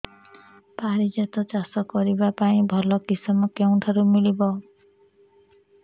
ପାରିଜାତ ଚାଷ କରିବା ପାଇଁ ଭଲ କିଶମ କେଉଁଠାରୁ ମିଳିବ